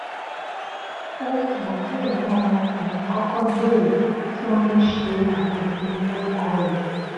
ó wù wọn kí ẹgbọn wọn ọkùnrin kọkọ bèrè kí wọn tó ṣe àwọn ìpinnu lórúkọ rẹ